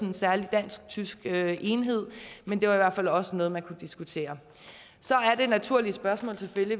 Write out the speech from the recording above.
en særlig dansk tysk enhed men det var i hvert fald også noget man kunne diskutere så er det naturlige spørgsmål selvfølgelig